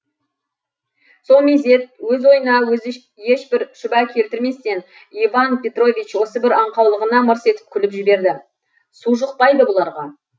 со мезет өз ойына өзі ешбір шүбә келтірместен иван петрович осы бір аңқаулығына мырс етіп күліп жіберді су жұқпайды бұларға